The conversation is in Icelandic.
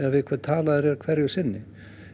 við hvern þú talar hverju sinni